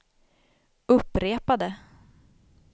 upprepade